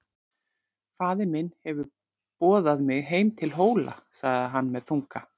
Faðir minn hefur boðað mig heim til Hóla, sagði hann með þunga.